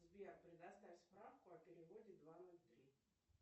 сбер предоставь справку о переводе два ноль три